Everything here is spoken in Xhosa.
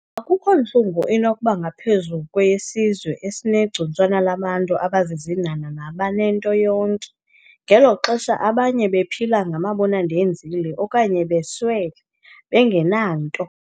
Akukho ntlungu inokuba ngaphezulu kweyesizwe esinegcuntswana labantu abazizinhanha nabanento yonke, ngeli xesha abanye bephila ngamabona-ndenzile, okanye beswele bengenanto.